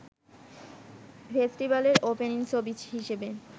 ফেস্টিভালের opening ছবি হিসেবে